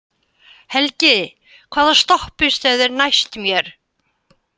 Helgi, hvaða stoppistöð er næst mér?